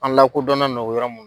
An lakodɔnnen no yɔrɔ mun